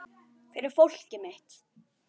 Fyrir fólkið mitt.